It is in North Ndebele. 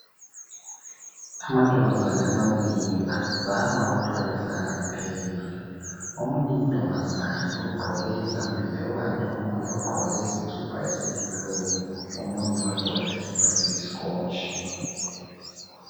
Amantombazane amabili azama ukuthwalisana ipeyili omunye untombazana ugqoke izambiya kukanti omunye ugqoke iskhipha esiyi blue omunye wagqoka iskhipha esiyi scotch.